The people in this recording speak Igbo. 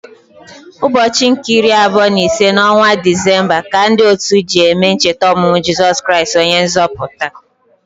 Ụbọchị nke iri abụọ na ise n’ọnwa Disemba ka ndị otu ji eme ncheta ọmụmụ Jeso Kristi, onye nzọpụta.